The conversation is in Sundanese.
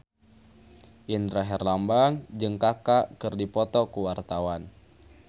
Indra Herlambang jeung Kaka keur dipoto ku wartawan